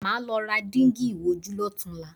Màá lọ ra dígí ìwojú lọ́tunla